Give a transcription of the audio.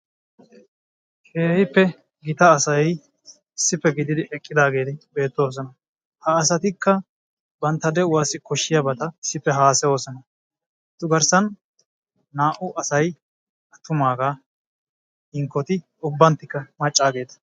Keehippe gita asay issippe gididi eqqidaageeti beettoosona, ha asatikka bantta de'uwassi koshshiyabata issippe haasayoosona, etu garssa naa"u asay attumaagaa hankkoti ubbanttikka maccaageeta.